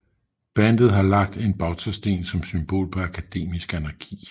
Bandet havde lagt en bautasten som symbol på akademisk anarki